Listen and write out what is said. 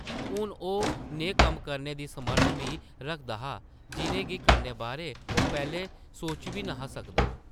हून ओह् नेह् कम्म करने दी समर्थ बी रखदा हा, जिʼनें गी करने बारै ओह् पैह्लें सोची बी न’हा सकदा ।